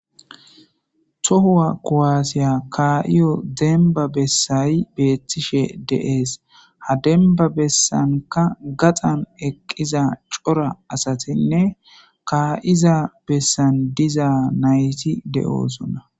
Tohuwa kowaasiya kaa'iyo demba bessayi beethtishe deees ha demba bessanka gaxan eqqiza cora asatinne kaa'iza bessan diza nayti de'oosona.